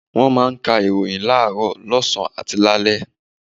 Wọ́n máa ń ka ìròyìn láàárọ̀, lọ́sàn-án àti lálẹ́.